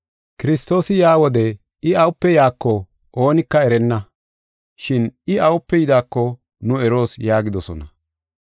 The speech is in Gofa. Kiristoosi yaa wode I awupe yaako oonika erenna, shin I awupe yidaako nu eroos” yaagidosona.